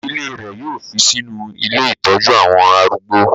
Ìdílé rẹ̀ yóò fi sínú ilé ìtọ́jú àwọn arúgbó.